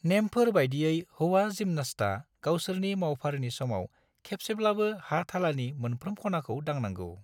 नेमफोर बायदियै हौवा जिम्नास्टा गावसोरनि मावफारिनि समाव खेबसेब्लाबो हा-थालानि मोनफ्रोम खनाखौ दांनांगौ।